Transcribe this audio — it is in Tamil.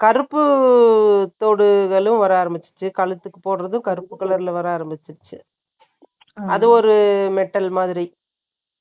அந்த கருப்பு தோடுகளும், வர ஆரம்பிச்சுச்சு. கழுத்துக்கு போடுறதும், கருப்பு colour ல, வர ஆரம்பிச்சிருச்சு அது ஒரு metal மாதிரி.